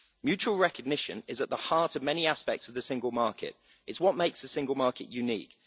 Mutual recognition is at the heart of many aspects of the single market it is what makes the single market unique.